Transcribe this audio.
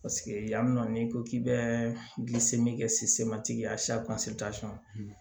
Paseke yan nɔ n'i ko k'i bɛ gili min kɛ